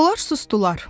Onlar susdular.